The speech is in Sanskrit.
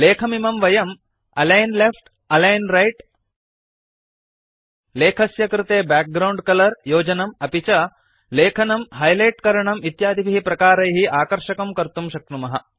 लेखमिमं वयं अलिग्न लेफ्ट अलिग्न राइट लेखस्य कृते बैकग्राउण्ड कलर योजनं अपि च लेखनं हाइलाइट करणं इत्यादिभिः प्रकारैः आकर्षकं कर्तुं शक्नुमः